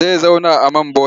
Zai zauna a man bonet.